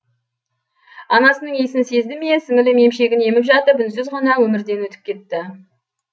анасының исін сезді ме сіңлім емшегін еміп жатып үнсіз ғана өмірден өтіп кетті